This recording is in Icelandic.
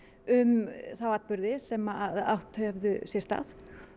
um þá atburði sem átt höfðu sér stað